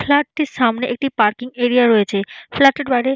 Flat টির সামনে একটি পার্কিং এরিয়া রয়েছে। ফ্ল্যাট টির বাইরে--